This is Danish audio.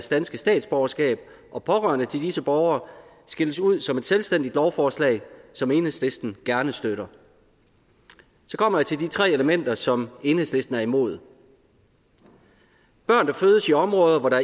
danske statsborgerskab og pårørende til disse borgere skilles ud som et selvstændigt lovforslag som enhedslisten gerne støtter så kommer jeg til de tre elementer som enhedslisten er imod børn der fødes i områder hvor der